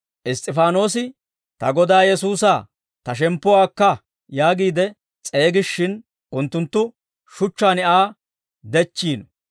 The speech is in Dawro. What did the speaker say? Iss's'ifaanoosi, «Ta Godaa Yesuusaa, ta shemppuwaa akka» yaagiide s'eegishshin, unttunttu shuchchaan Aa dechchiino.